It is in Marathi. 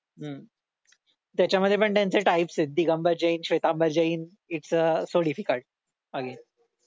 हम्म त्याच्यामध्ये पण त्यांचे टाईप्स आहेत Digambar Jain Shwetambar Jain it's a significant again